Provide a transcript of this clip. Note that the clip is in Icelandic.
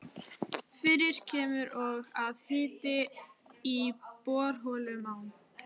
Fyrir kemur og að hiti í borholum á